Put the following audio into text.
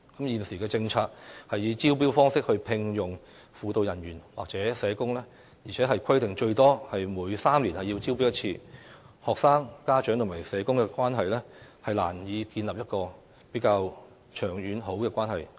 現時的政策是以招標方式聘用輔導人員或社工，而且規定最多每3年要招標1次，學生、家長與社工之間難以建立一個比較長遠和良好的關係。